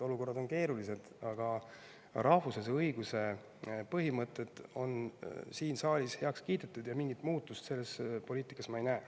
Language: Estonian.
Olukorrad on keerulised, aga rahvusvahelise õiguse põhimõtted on siin saalis heaks kiidetud ja mingit muutust selles poliitikas ma ei näe.